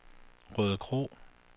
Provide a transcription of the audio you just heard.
Rødekro